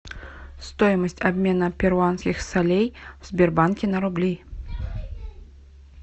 стоимость обмена перуанских солей в сбербанке на рубли